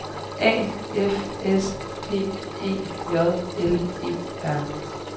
A F S P E J L E R